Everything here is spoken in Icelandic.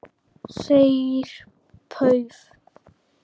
Þeir pauf